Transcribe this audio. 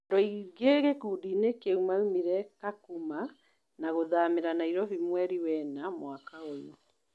Andũ aingĩ gĩkundinĩ kĩu maũmire Kakuma na gũthamĩra Nairobi mweri wena mwaka ũyù